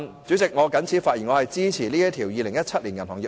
主席，我謹此陳辭，支持《條例草案》恢復二讀辯論。